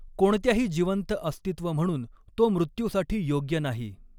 कोणत्याही जिवंत अस्तित्व म्हणून तो मृत्यूसाठी यॊग्य नाही.